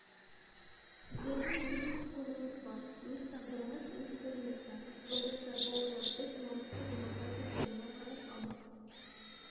сіздердің мұндай құқығыңыз бар өз тағдырыңыз өз қолыңызда жолдастар бауырлар біз намысты демократия жолына қарай анық